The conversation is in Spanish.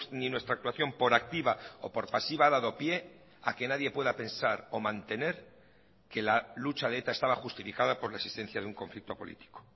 ni nuestra actuación por activa o por pasiva ha dado pie a que nadie pueda pensar o mantener que la lucha de eta estaba justificada por la existencia de un conflicto político